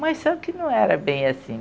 Mas só que não era bem assim.